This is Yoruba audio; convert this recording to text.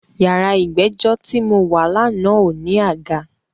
Yàrá ìgbẹ́jọ́ ti mo wà lánàá ò ní àga.